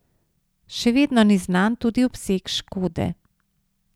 Še vedno ni znan tudi obseg škode.